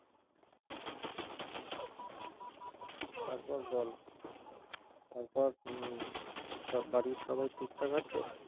তারপর বল তারপর উম সব বাড়ির সবাই ঠিকঠাক আছে